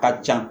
Ka ca